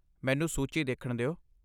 ਮੈਨੂੰ ਸੂਚੀ ਦੇਖਣ ਦਿਓ।